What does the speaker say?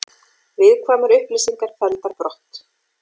Viðkvæmar upplýsingar felldar brott